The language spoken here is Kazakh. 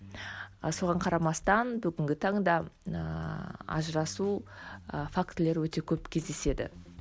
ы соған қарамастан бүгінге таңда ыыы ажырасу ы фактілері өте көп кездеседі